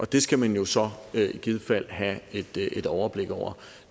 det skal man jo så i givet fald have et et overblik over